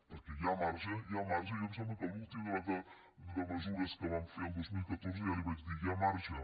perquè hi ha marge hi ha marge jo em sembla que a l’últim debat de mesures que vam fer el dos mil catorze ja li vaig dir hi ha marge